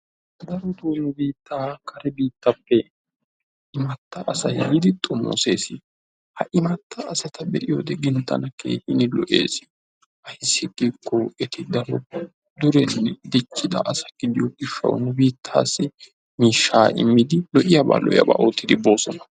Daroto nu biitta kare biittappe imatta asay yiidi xoomosees. Ha imatta asa be'iyode tana keehin lo'ees. Ayssi gikko eti darotto durettane diccida asata gidiyo gishawu nu biittaasi miishsha immidi lo''iyaba lo'iyaba ottidi bosona.